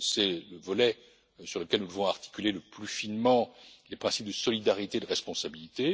C'est le volet sur lequel nous devons articuler le plus finement les principes de solidarité et de responsabilité.